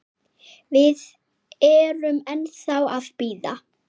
Við erum ennþá að bíða.